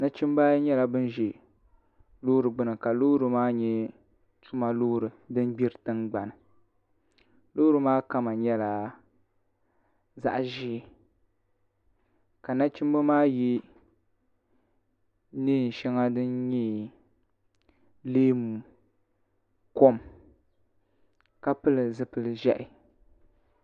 nachimbi ayi nyɛla bin ʒɛ Loori gbuni ka loori maa nyɛ tuma loori din gbiri tingbani loori maa kama nyɛla zaɣ ʒiɛ ka nachimbi maa yɛ neen shɛŋa din nyɛ leemu kom ka pili zipili ʒiɛhi